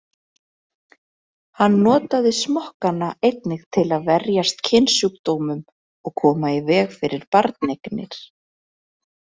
Hann notaði smokkana einnig til að verjast kynsjúkdómum og koma í veg fyrir barneignir.